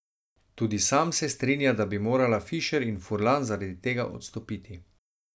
Tudi sam se strinja, da bi morala Fišer in Furlan zaradi tega odstopiti.